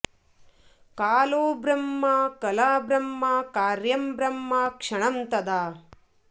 कालो ब्रह्म कला ब्रह्म कार्यं ब्रह्म क्षणं तदा